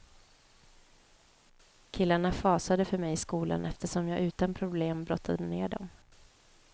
Killarna fasade för mig i skolan eftersom jag utan problem brottade ner dem.